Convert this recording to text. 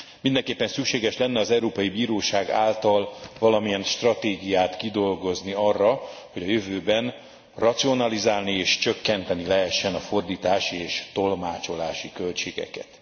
Mindenképpen szükséges lenne az Európai Bíróság által valamilyen stratégiát kidolgozni arra, hogy a jövőben racionalizálni és csökkenteni lehessen a fordítási és tolmácsolási költségeket.